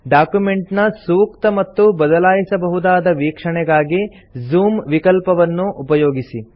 document ನ ಸೂಕ್ತ ಮತ್ತು ಬದಲಾಯಿಸಬಹುದಾದ ವೀಕ್ಷಣೆಗಾಗಿ ಜೂಮ್ ವಿಕಲ್ಪವನ್ನು ಉಪಯೋಗಿಸಿ